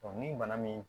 ni bana min